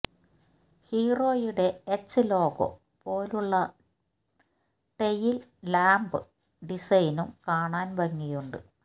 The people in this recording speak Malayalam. ഹീറോയുടെ എച്ച് ലോഗോ പോലുള്ള ടെയിൽ ലാംപ് ഡിസൈനും കാണാൻ ഭംഗിയുണ്ട്